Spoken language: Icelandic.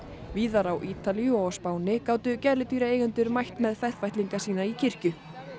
víðar á Ítalíu og á Spáni gátu gæludýraeigendur mætt með ferfætlinga sína í kirkju